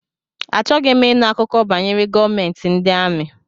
Achọghị m ịnụ akụkọ banyere gọọmentị ndị amị.